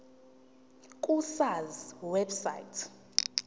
ku sars website